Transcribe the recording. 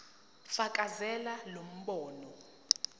fakazela lo mbono